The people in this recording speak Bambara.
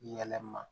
Yɛlɛma